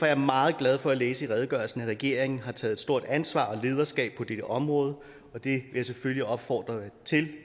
jeg meget glad for at læse i redegørelsen at regeringen har taget et stort ansvar og lederskab på dette område og det jeg selvfølgelig opfordre til